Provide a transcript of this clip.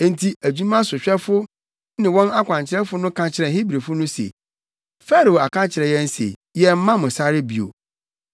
Enti adwumasohwɛfo ne wɔn akwankyerɛfo no ka kyerɛɛ Hebrifo no se, “Farao aka akyerɛ yɛn se yɛmmma mo sare bio.